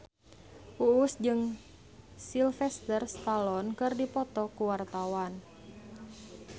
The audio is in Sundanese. Uus jeung Sylvester Stallone keur dipoto ku wartawan